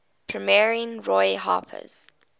premiering roy harper's